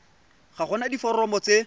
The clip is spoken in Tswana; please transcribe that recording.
ga go na diforomo tse